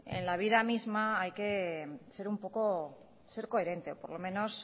en la vida misma hay que ser un poco coherente por lo menos